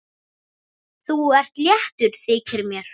Þú ert léttur, þykir mér!